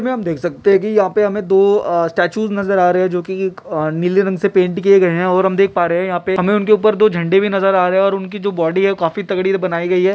इसमें हम देख सकते है की यहाँ पे हमें दो अ--स्टैटूज़ नज़र आ रहे है जो कि अ-- नीले रंग से पेंट किये गए है और हम देख पा रहे है यहाँ पे-- हमे उनके उप्पर दो झंडे भी नज़र आ रहे है और उनकी जो बॉडी है जो काफी तगड़ी से बनायीं गयी है।